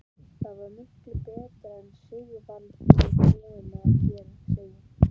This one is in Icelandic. Það var miklu betra en Sigvaldi var búinn að segja.